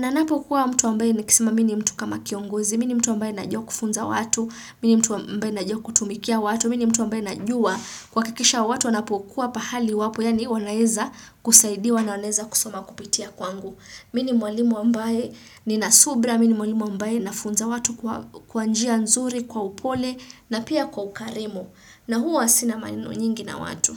Na napokuwa mtu ambaye nikisema mi ni mtu kama kiongozi, mi ni mtu ambaye najua kufunza watu, mi ni mtu ambaye najua kutumikia watu, mi ni mtu ambaye najua kuhakikisha watu wanapokuwa pahali wapo, yaani wanaeza kusaidiwa na wanaeza kusoma kupitia kwangu. Mi ni mwalimu ambaye nina subira, mi ni mwalimu ambaye nafunza watu kwa njia nzuri, kwa upole na pia kwa ukarimu. Na huwa sina maneno nyingi na watu.